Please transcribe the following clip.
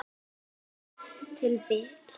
Ef til vill!